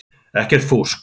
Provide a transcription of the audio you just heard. Ekkert fúsk.